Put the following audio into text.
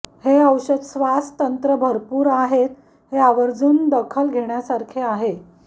हे औषध श्वास तंत्र भरपूर आहेत हे आवर्जून दखल घेण्यासारखे आहे